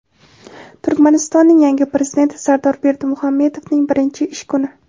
Turkmanistonning yangi Prezidenti Sardor Berdimuhamedovning birinchi ish kuni.